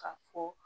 K'a fɔ